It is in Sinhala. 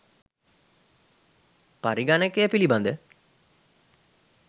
පරිගණකය පිළිබඳ